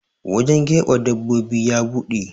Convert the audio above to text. wajen keɓe dabbobin ya buɗe